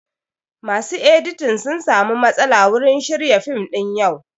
Masu editing sun samu matsala wurin shirya fim ɗin yau